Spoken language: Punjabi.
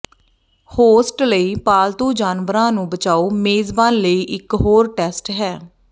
ਹੋਸਟ ਲਈ ਪਾਲਤੂ ਜਾਨਵਰਾਂ ਨੂੰ ਬਚਾਓ ਮੇਜ਼ਬਾਨ ਲਈ ਇਕ ਹੋਰ ਟੈਸਟ ਹੈ